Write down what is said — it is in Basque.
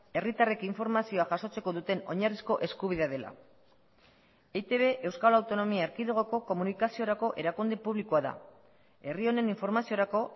herritarrek informazioa jasotzeko duten oinarrizko eskubidea dela eitb euskal autonomia erkidegoko komunikaziorako erakunde publikoa da herri honen informaziorako